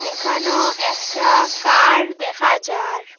এখানেও একটা কার দেখা যার।